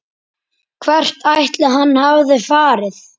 Hvert ætli hann hafi farið?